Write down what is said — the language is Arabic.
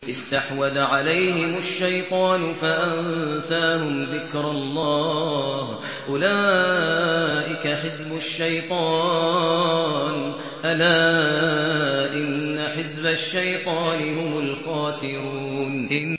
اسْتَحْوَذَ عَلَيْهِمُ الشَّيْطَانُ فَأَنسَاهُمْ ذِكْرَ اللَّهِ ۚ أُولَٰئِكَ حِزْبُ الشَّيْطَانِ ۚ أَلَا إِنَّ حِزْبَ الشَّيْطَانِ هُمُ الْخَاسِرُونَ